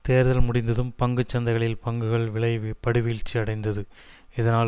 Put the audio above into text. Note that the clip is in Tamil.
தேர்தல் முடிந்ததும் பங்கு சந்தைகளில் பங்குகள் விலை படுவீழ்ச்சி அடைந்தது இதனால்